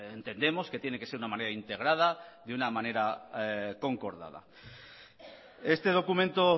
entendemos que tiene que ser una manera integrada de una manera concordada este documento